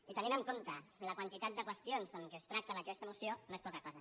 i tenint en compte la quantitat de qüestions que es tracten en aquesta moció no és poca cosa